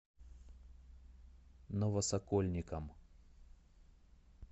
новосокольникам